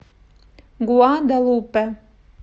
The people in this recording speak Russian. гуадалупе